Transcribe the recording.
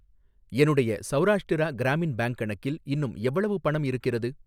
என்னுடைய சௌராஷ்டிரா கிராமின் பேங்க் கணக்கில் இன்னும் எவ்வளவு பணம் இருக்கிறது?